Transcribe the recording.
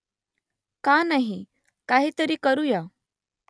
का नाही ? काहीतरी करुया